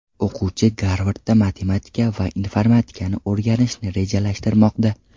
O‘quvchi Garvardda matematika va informatikani o‘rganishni rejalashtirmoqda.